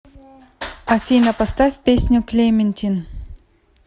афина поставь песню клементин